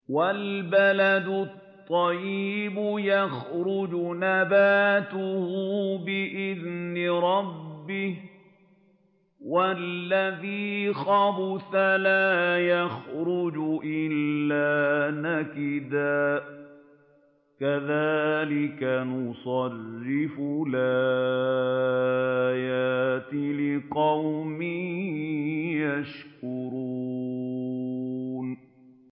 وَالْبَلَدُ الطَّيِّبُ يَخْرُجُ نَبَاتُهُ بِإِذْنِ رَبِّهِ ۖ وَالَّذِي خَبُثَ لَا يَخْرُجُ إِلَّا نَكِدًا ۚ كَذَٰلِكَ نُصَرِّفُ الْآيَاتِ لِقَوْمٍ يَشْكُرُونَ